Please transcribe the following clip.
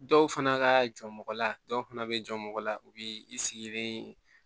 Dɔw fana ka jɔ mɔgɔ la dɔw fana bɛ jɔ mɔgɔ la u b'i sigilen